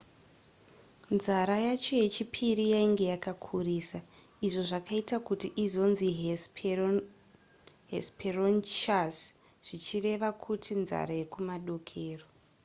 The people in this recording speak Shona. nzara yayo yechipiri yainge yakakurisa izvo zvakaita kuti izonzi hesperonychus zvichireva izvo kuti nzara yekumadokero